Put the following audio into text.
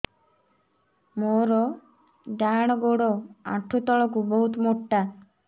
ମୋର ଡାହାଣ ଗୋଡ ଆଣ୍ଠୁ ତଳୁକୁ ବହୁତ ମୋଟା